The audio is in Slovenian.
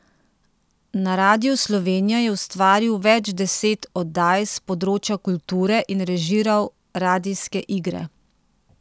Na Radiu Slovenija je ustvaril več deset oddaj s področja kulture in režiral radijske igre.